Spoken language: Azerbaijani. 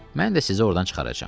Mən də sizə ordan çıxaracam.